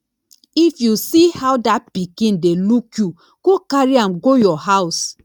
if you see how dat pikin dey look you go carry am go your house